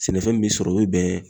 Sɛnɛfɛn min bi sɔrɔ, o bɛ bɛn